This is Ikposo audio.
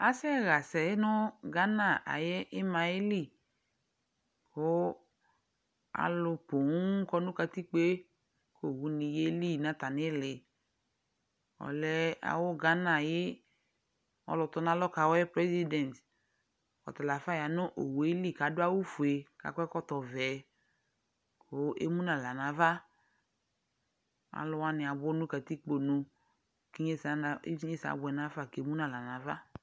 Asɛɣasɛ nʋ Ghana ayʋ ɩma yɛli: kʋ alʋ pooŋ kɔ nʋ katikpoe , owuni yeli n'atamɩlɩ Ɔlɛ awʋ Ghana ayɩ ɔlʋtɔn'alɔ kawʋɛ (President) ; ɔtala ya nʋ owue li k'adʋ awʋfue k'akɔ ɛkɔtɔvɛ , kʋ emu n'aɣla n'ava Alʋ wanɩ abʋ katikponu, k'inyesɛ abʋɛ nafa k'emu n'aɣla n'ava